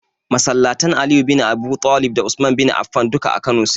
Masalatan Aliyu bin Abuɗalib da Usman bin Afan duk a Kano su ke.